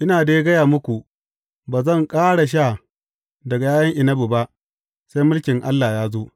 Ina dai gaya muku, ba zan ƙara sha daga ’ya’yan inabi ba, sai mulkin Allah ya zo.